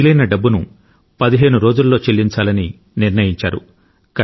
మిగిలిన డబ్బును పదిహేను రోజుల్లో చెల్లించాలని నిర్ణయించారు